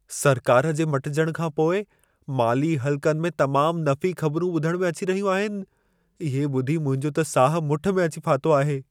सरकार जे मटिजणु खां पोइ माली हल्क़नि में तमामु नफ़ी ख़बरूं ॿुधण में अची रहियूं आहिनि, इहे ॿुधी मुंहिंजो त साहु मुठि में अची फाथो आहे।